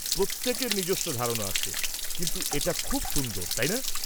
প্রত্যেকের নিজস্ব ধারনা আছে, কিন্তু এটা খুব সুন্দর, তাই না?